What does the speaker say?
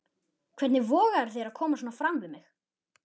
Hvernig vogarðu þér að koma svona fram við mig!